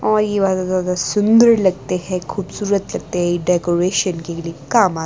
और ये सुन्दर लगते हैं खूबसूरत लगते है डेकोरेशन के लिए काम आ--